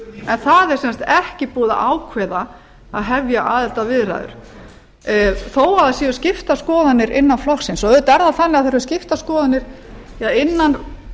en það er sem sagt ekki búið að ákveða að hefja aðildarviðræður þó það séu skiptar skoðanir innan flokksins auðvitað er það þannig að það eru skiptar skoðanir innan